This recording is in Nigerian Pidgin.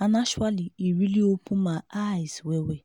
and actually e really open my eyes well well.